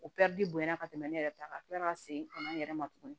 O bonyana ka tɛmɛ ne yɛrɛ ta kan ka kila ka segin ka na n yɛrɛ ma tugun